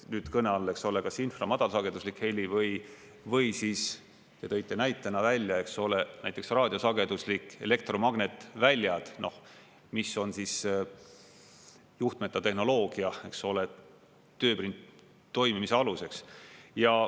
Nüüd on kõne all, eks ole, kas infra-, madalsageduslik heli või siis te tõite näitena välja, eks ole, näiteks raadiosageduslikud elektromagnetväljad, mis on juhtmeta tehnoloogia toimimise aluseks.